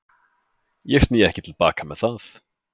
Ég sný ekki til baka með það.